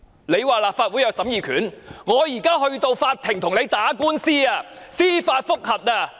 你們說立法會有審議權，我們現在便要到法庭跟你打官司，進行司法覆核。